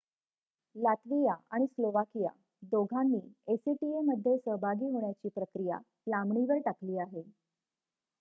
Latvia आणि Slovakia दोघांनी acta मध्ये सहभागी होण्याची प्रक्रिया लांबणीवर टाकली आहे